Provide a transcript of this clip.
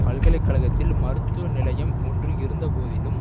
பல்கலை கழகத்தில் மருத்துவ நிலையம் ஒன்று இருந்த போதிலும்